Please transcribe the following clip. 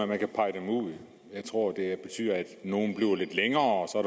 man kan pege dem ud jeg tror det betyder at nogle bliver lidt længere og